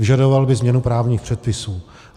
Vyžadoval by změnu právních předpisů.